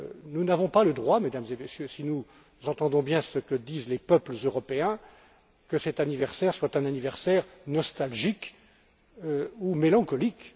Nous n'avons pas le droit, Mesdames et Messieurs, si nous entendons bien ce que disent les peuples européens, que cet anniversaire soit un anniversaire nostalgique ou mélancolique.